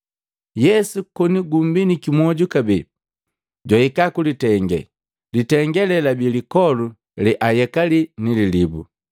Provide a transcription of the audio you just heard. Yesu koni gumbiniki mwoju kabee, jwahika kulitenge. Litenge lee labi lipoli, leayekali ni lilibu.